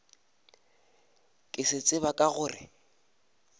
ke se tseba ke gore